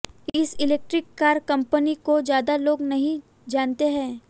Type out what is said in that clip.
इस electric car company को ज्यादा लोग नहीं जानते हैं